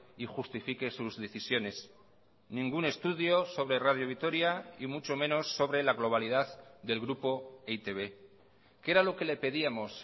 y justifique sus decisiones ningún estudio sobre radio vitoria y mucho menos sobre la globalidad del grupo e i te be qué era lo que le pedíamos